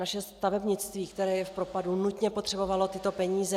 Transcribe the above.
Naše stavebnictví, které je v propadu, nutně potřebovalo tyto peníze.